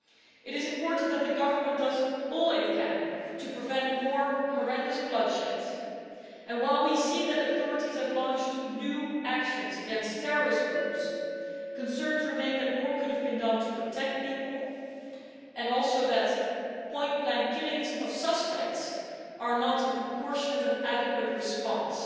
It is important that the government does all it can to prevent more horrendous bloodshed and, while we see that the authorities have launched new actions against terrorist groups, concerns remain that more could have been done to protect people and also that point blank killings of suspects are not a proportionate and adequate response